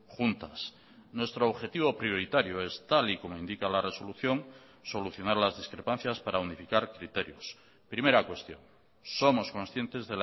juntas nuestro objetivo prioritario es tal y como indica la resolución solucionar las discrepancias para unificar criterios primera cuestión somos conscientes